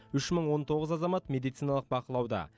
үш мың он тоғыз азамат медициналық бақылауда